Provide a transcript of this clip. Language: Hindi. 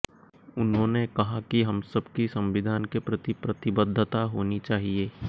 उन्होंने कहा कि हम सबकी संविधान के प्रति प्रतिबद्धता होनी चाहिए